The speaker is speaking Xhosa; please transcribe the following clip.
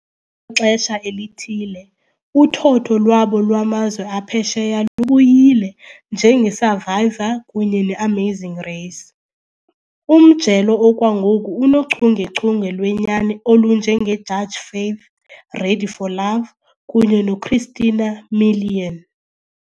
xesha elithile, uthotho lwabo lwamazwe aphesheya lubuyile, njenge Survivor kunye neAmazing Race. Umjelo okwangoku unochungechunge lwenyani olunje nge Judge Faith, Ready For Love kunye noChristina Milian.